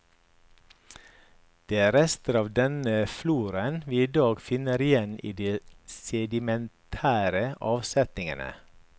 Det er rester av denne floraen vi i dag finner igjen i de sedimentære avsetningene.